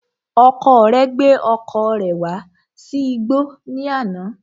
Ọkọ rẹ gbé ọkọ̀ rẹ̀ wá sí igbọ́ ní àná